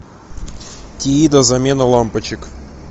тиида замена лампочек